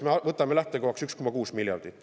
Me võtame lähtekohaks 1,6 miljardit.